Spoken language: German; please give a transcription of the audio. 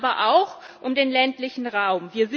Es geht aber auch um den ländlichen Raum.